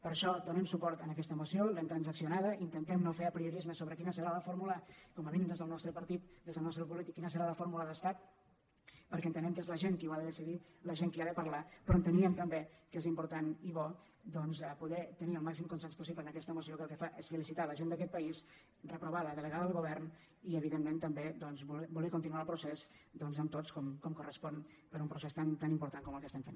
per això donem suport a aquesta moció l’hem trans·accionada intentem no fer apriorismes sobre quina serà la fórmula com a mínim des del nostre partit des del nostre grup polític quina serà la fórmula d’estat perquè entenem que és la gent qui ho ha de decidir la gent qui ha de parlar però enteníem també que és important i bo doncs poder tenir el màxim consens possible en aquesta moció que el que fa és felicitar la gent d’aquest país reprovar la delegada del govern i evidentment també voler continuar el procés doncs amb tots com correspon per a un procés tan tan im·portant com el que estem fent